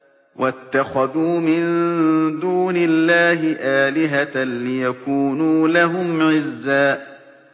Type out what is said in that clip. وَاتَّخَذُوا مِن دُونِ اللَّهِ آلِهَةً لِّيَكُونُوا لَهُمْ عِزًّا